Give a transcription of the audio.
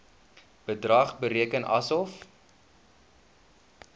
bedrag bereken asof